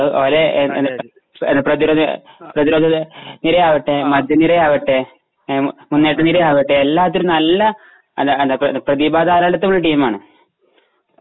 പ്രതിരോധ പ്രതിരോധനിരയാവട്ടെ മധ്യനിരയാവട്ടെ മുന്നേറ്റനിരയാവട്ടെ എല്ലാത്തിലും നല്ല പ്രതിഭാധാരാളിത്തം ഉള്ള ടീമാണ്.